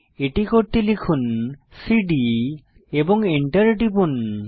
এটি করতে লিখুন সিডি এবং এন্টার টিপুন